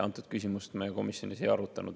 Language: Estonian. Antud küsimust me komisjonis ei arutanud.